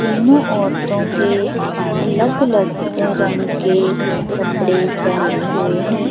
तीनो औरतो के अलग-अलग रंग के कपड़े पहने हुए है।